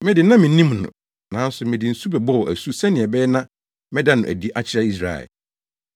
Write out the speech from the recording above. Me de, na minnim no, nanso mede nsu bɛbɔɔ asu sɛnea ɛbɛyɛ na mɛda no adi akyerɛ Israel.”